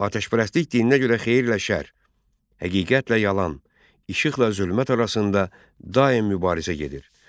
Atəşpərəstlik dininə görə xeyirlə şər, həqiqətlə yalan, işıqla zülmət arasında daim mübarizə gedir.